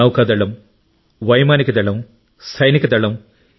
నౌకాదళం వైమానికదళం సైనిక దళం